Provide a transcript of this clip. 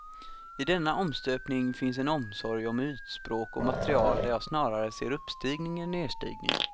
I denna omstöpning finns en omsorg om ytspråk och material där jag snarare ser uppstigning än nedstigning.